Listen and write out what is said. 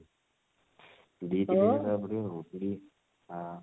ଦୁଇ ତିନି ହଜାର ଦବାକୁ ପଡିବ ଆଉ ଆ